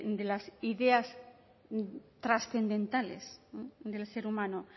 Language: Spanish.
de las ideas trascendentales del ser humano